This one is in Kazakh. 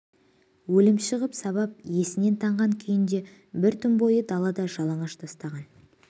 өлімші ғып сабап есінен танған күйінде бір түн бойы далаға жалаңаш тастаған